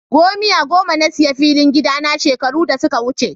Gomiya goma na sayi filin gida na shekaru da suka wuce.